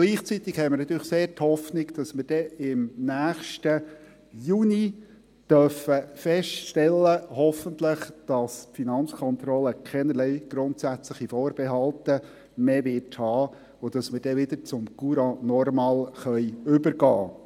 Gleichzeitig haben wir natürlich sehr die Hoffnung, dass wir dann hoffentlich im nächsten Juni feststellen dürfen, dass die Finanzkontrolle keinerlei grundsätzliche Vorbehalte mehr haben wird, sodass wir dann wieder zum Courant normal übergehen können.